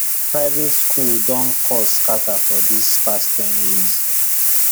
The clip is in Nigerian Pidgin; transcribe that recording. private school don cost scatter for this past ten years